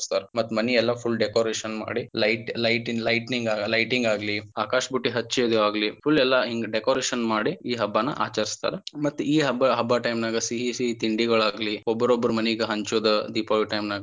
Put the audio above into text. ಹಚ್ಚ್ತಾರ ಮತ್ತ ಮನಿ ಅದು ಎಲ್ಲಾ full decoration ಮಾಡಿ light lightning lighting ಆಗ್ಲಿ ಆಕಾಶ ಬುಟ್ಟಿ ಹಚ್ಚುದಾಗ್ಲಿ full ಎಲ್ಲಾ ಹಿಂಗ decoration ಮಾಡಿ ಈ ಹಬ್ಬಾನ ಆಚರಿಸ್ತರ ಮತ್ತ ಈ ಹಬ್ಬ ಹಬ್ಬ time ನಾಗ ಸಿಹಿ ಸಿಹಿ ತಿಂಡಿಗೋಳಾಗ್ಲಿ ಒಬ್ಬರೊಬ್ಬರ ಮನಿಗ ಹಂಚೋದ ದೀಪಾವಳಿ time ನಾಗ.